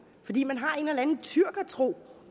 fordi man har en eller anden tyrkertro